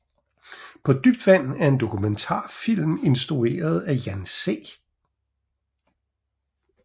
På dybt vand er en dokumentarfilm instrueret af Jan C